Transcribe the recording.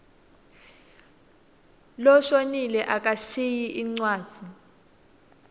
loshonile akashiyi incwadzi